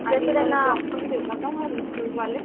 uncler institute वाले